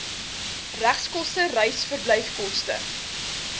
regskoste reis verblyfkoste